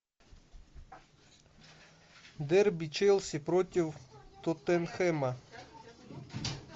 дерби челси против тоттенхэма